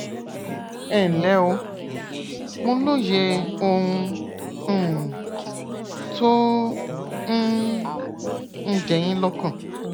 ẹnlẹ o mo lóye ohun um tó um ń jẹ yín lọkàn